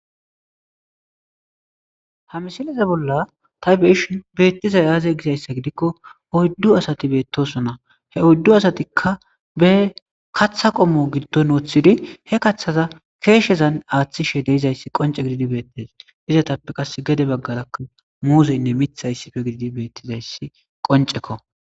Ha misileze bolla ta beishi beettizay aaze gizayssa gidikko oyddu asati beettoso na he oddu asatikka be katha qommo giddon wooththidi he kaththaza keeshezan aaththishe deizayssi qonce gididi beettes izatappe qas gede baggarakk muuzeynne mitha issife gididi beettizayssi qoncekko.